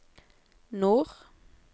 nord